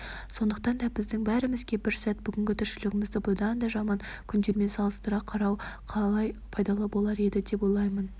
сондықтан да біздің бәрімізге бір сәт бүгінгі тіршілігімізді бұдан да жаман күндермен салыстыра қарау қалай пайдалы болар еді деп ойлаймын